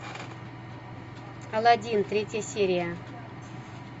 алладин третья серия